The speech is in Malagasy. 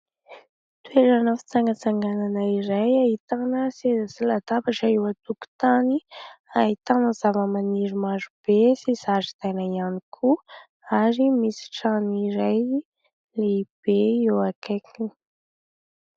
Toerana fitsangatsanganana iray ahitana seza sy latabatra eo an-tokotany, ahitana zavamaniry maro be sy zaridaina ihany koa ary misy trano iray lehibe eo akaikiny.